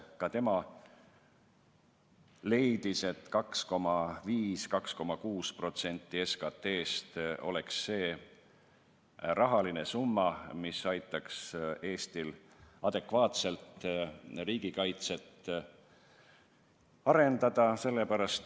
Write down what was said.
Ka tema leidis, et 2,5–2,6% SKT-st oleks see summa, mis aitaks Eestil adekvaatselt riigikaitset arendada.